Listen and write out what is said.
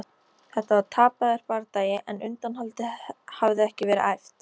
Þetta var tapaður bardagi en undanhaldið hafði ekki verið æft.